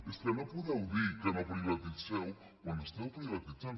és que no podeu dir que no privatitzeu quan esteu privatitzant